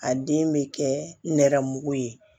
A den bɛ kɛ nɛrɛmugu ye